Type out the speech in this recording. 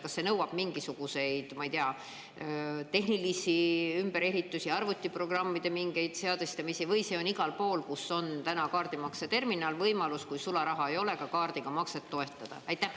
Kas see nõuab mingisuguseid, ma ei tea, tehnilisi ümberehitusi, mingeid arvutiprogrammide seadistamisi, või on igal pool, kus on täna kaardimakseterminal, see võimalus, et kui sularaha ei ole, siis saab ka kaardiga makset teostada?